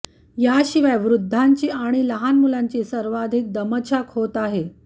याशिवाय वृद्धांची व लहान मुलांची सर्वाधिक दमछाक होत आहे